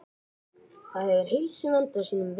Ég fann til mikils léttis en um leið var ég hrædd.